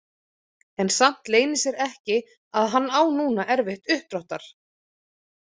En samt leynir sér ekki að hann á núna erfitt uppdráttar.